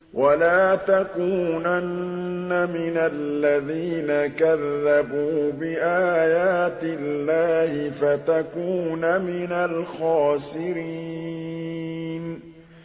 وَلَا تَكُونَنَّ مِنَ الَّذِينَ كَذَّبُوا بِآيَاتِ اللَّهِ فَتَكُونَ مِنَ الْخَاسِرِينَ